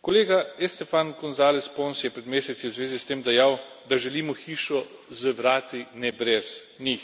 Kolega Esteban Gonzáles Pons je pred meseci v zvezi s tem dejal, da želimo hišo z vrati, ne brez njih.